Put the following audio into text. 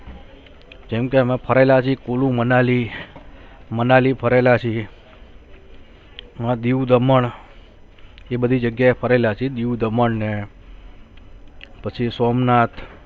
જેમ કે અમે ફરેલા જી કુલુ મનાલી, મનાલી ફરેલા છીએ દીવ, દમણ એ બધી જગીયા એ ફારેલા છે દીવ, દમણ ને પછી સોમનાથ